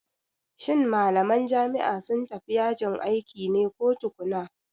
Shin malaman jami'a sun tafi yajin aiki ne ko tukuna?